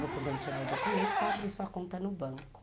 Você tem que tirar o documento para abrir sua conta no banco.